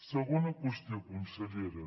segona qüestió consellera